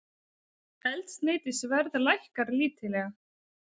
Eldsneytisverð lækkar lítillega